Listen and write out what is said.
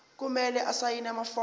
kumele asayine amafomu